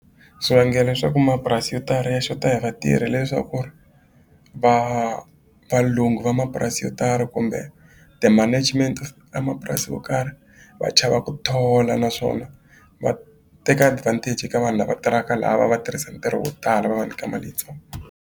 Swi vangelo leswaku mapurasi yo tala ya xota hi vatirhi leswaku ri valungu va mapurasi yo tala kumbe ti-management vamapurasi yo karhi va chava ku thola naswona va teka advantage ka vanhu lava tirhaka la va va tirhisa ntirho wo tala va va nyika mali yitsongo.